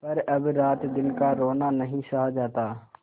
पर अब रातदिन का रोना नहीं सहा जाता